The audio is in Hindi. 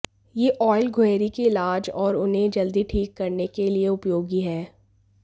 यह ऑयल गुहेरी के इलाज और उन्हें जल्दी ठीक करने के लिए उपयोगी है